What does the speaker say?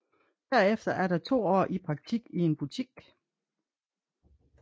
Derefter er der to år i praktik i en butik